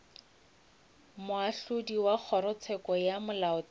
moahlodi wa kgorotsheko ya molaotheo